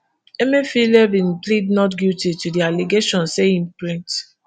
emefiele bin plead not guilty to di allegation say im print